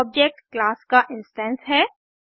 एक object class का instance है